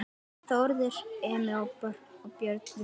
Þórður Emi og Björn Viktor